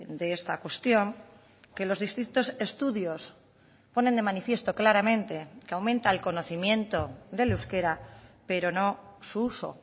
de esta cuestión que los distintos estudios ponen de manifiesto claramente que aumenta el conocimiento del euskera pero no su uso